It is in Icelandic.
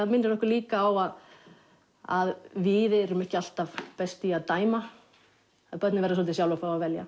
minnir okkur líka á að að við erum ekki alltaf best í að dæma börnin verða svolítið sjálf að fá að velja